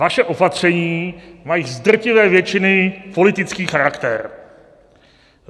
Vaše opatření mají z drtivé většiny politický charakter.